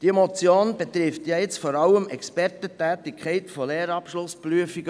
Diese Motion betrifft vor allem die Expertentätigkeit bei Lehrabschlussprüfungen.